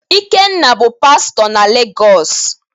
Ikenna bụ Pastọ na Legos.